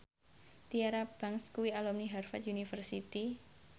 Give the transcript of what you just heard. Tyra Banks kuwi alumni Harvard university